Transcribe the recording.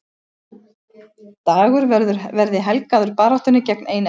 Dagur verði helgaður baráttunni gegn einelti